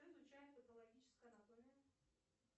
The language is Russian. что изучает патологическая анатомия